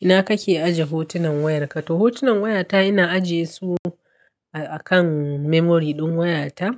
Ina kake aje hotunan wayarka? To hotunan wayata ina ajiye su akan memory ɗin wayata.